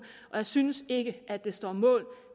jeg synes ikke at det står mål